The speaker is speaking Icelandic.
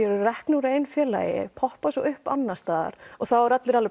eru reknir úr einu félagi poppa svo upp annars staðar og þá eru allir